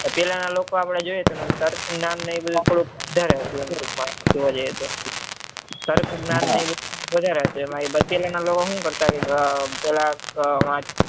પેહલા ના લોકો આપડે જોઈએ તો તર્ક જ્ઞાન ને એમના mind માં બધું વધારે જોવા જઈએ તો તર્ક જ્ઞાન ને વધારે હું કરતા આમ પેલા